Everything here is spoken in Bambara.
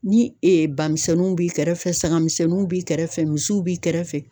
Ni bamisɛnninw b'i kɛrɛfɛ, sagamisɛnninw b'i kɛrɛfɛ ,misiw b'i kɛrɛfɛ.